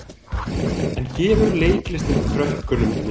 En gefur leiklistin krökkunum mikið?